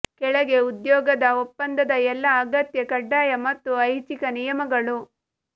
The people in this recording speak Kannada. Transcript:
ಕೆಳಗೆ ಉದ್ಯೋಗದ ಒಪ್ಪಂದದ ಎಲ್ಲಾ ಅಗತ್ಯ ಕಡ್ಡಾಯ ಮತ್ತು ಐಚ್ಛಿಕ ನಿಯಮಗಳು